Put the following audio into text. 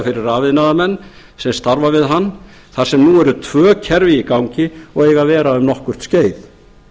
fyrir rafiðnaðarmenn sem starfa við hann þar sem nú eru tvö kerfi í gangi og eiga að vera um nokkurt skeið